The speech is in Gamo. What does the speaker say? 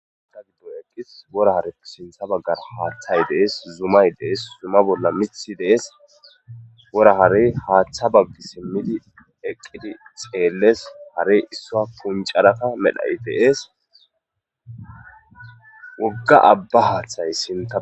Ada giddo eqqis wora hare sintha baggar haaththay dees zumay dees zuma bolla mithi dees wora harey haaththa baggi simmidi eqqidi xeelles hare issua puncarakka medhay deees wogga abba haaththay sinta.